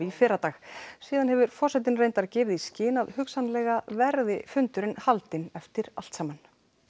fyrradag síðan hefur forsetinn reyndar gefið í skyn að hugsanlega verði fundurinn haldinn eftir allt saman